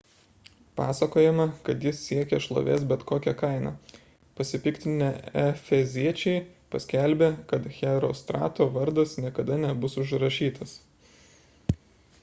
pasakojama kad jis siekė šlovės bet kokia kaina pasipiktinę efeziečiai paskelbė kad herostrato vardas niekada nebus užrašytas